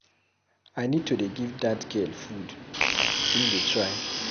I need to dey give dat girl food, im dey try.